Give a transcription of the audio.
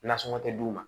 Nasɔngɔ tɛ d'u ma